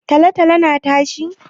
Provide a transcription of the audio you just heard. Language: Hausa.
Tolo-tolo na tashi?